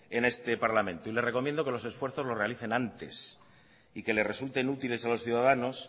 en este parlamento y le recomiendo que los esfuerzos los realicen antes y que les resulten útiles a los ciudadanos